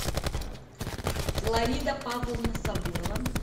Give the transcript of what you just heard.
флорида павловна сабурова